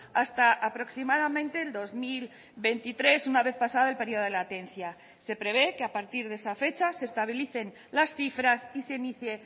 hasta aproximadamente el dos mil veintitrés una vez pasado el periodo de latencia se prevé que a partir de esa fecha se estabilicen las cifras y se inicie